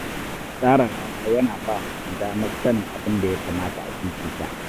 Tsara rana yana ba mutum damar sanin abin da ya kamata a fifita.